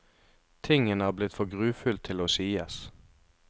Tingen er blitt for grufull til å sies.